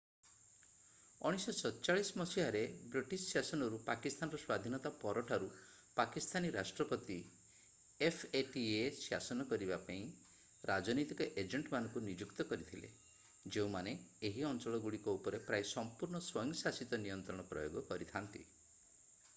1947 ମସିହାରେ ବ୍ରିଟିଶ ଶାସନରୁ ପାକିସ୍ତାନର ସ୍ୱାଧିନତା ପରଠାରୁ ପାକିସ୍ତାନୀ ରାଷ୍ଟ୍ରପତି ଏଫଏଟିଏ ଶାସନ କରିବାକୁ ରାଜନୈତିକ ଏଜେଣ୍ଟ"ମାନଙ୍କୁ ନିଯୁକ୍ତ କରିଥିଲେ ଯେଉଁମାନେ ଏହି ଅଞ୍ଚଳଗୁଡିକ ଉପରେ ପ୍ରାୟ-ସମ୍ପୂର୍ଣ୍ଣ ସ୍ୱୟଂଶାସିତ ନିୟନ୍ତ୍ରଣ ପ୍ରୟୋଗ କରିଥାନ୍ତି।